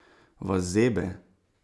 Vas zebe?